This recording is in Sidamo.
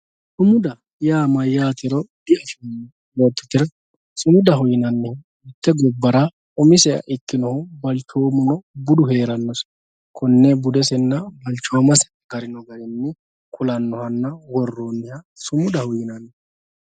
Sumudaho yaa mayyatero dibuuxoommo yoottotera sumudaho yinannihu mite gobbara umiseha ikkinohu galtomu balchoomu heeranse konne budesenna balchoomase agarinoha ku'lanohanna worooniha sumudaho yinanni.